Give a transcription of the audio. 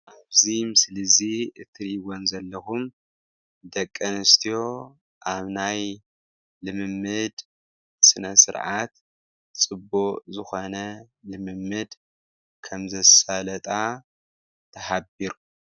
ኣብዚ ምስሊ እዚ እትርኢዎን ዘለኹም ደቂ ኣንስትዮ ኣብ ናይ ልምምድ ስነስርዓት ፅቡቅ ዝኾነ ልምምድ ከም ዘሳለጣ ተሓቢሩ።